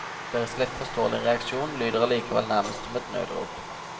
Deres lett forståelige reaksjon lyder allikevel nærmest som et nødrop.